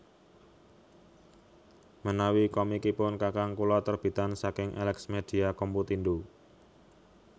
Menawi komikipun kakang kula terbitan saking Elexmedia Computindo